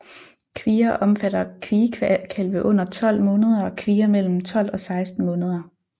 Kvier omfatter kviekalve under 12 måneder og kvier mellem 12 og 16 måneder